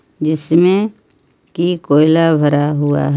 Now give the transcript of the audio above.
जिस्में की कोयला भरा हुआ--